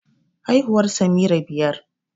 Haihuwar Samira biyar